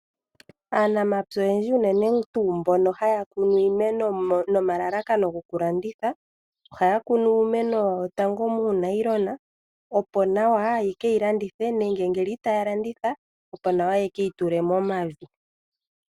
Aanamapya oyendji unene tuu mbono haya kunu iimeno nomalalakano gokulanditha ohaya kunu iimeno yawo tango muulayilona opo nawa ye ke yi landithe nenge ngele itaya landitha opo nawa ye ke yi tule momavi.